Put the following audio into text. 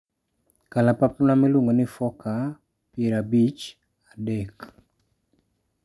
Kalapapla miluongo ni Forker 50 3.